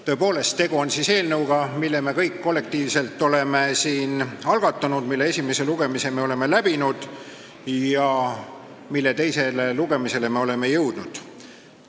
Tõepoolest, tegu on eelnõuga, mille me kõik kollektiivselt oleme siin algatanud, mille esimese lugemise me oleme läbinud ja mille teisele lugemisele me oleme jõudnud.